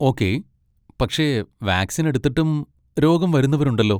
Okay, പക്ഷേ vaccine എടുത്തിട്ടും രോഗം വരുന്നവരുണ്ടല്ലോ.